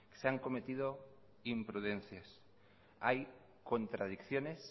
se han cometido imprudencias hay contradicciones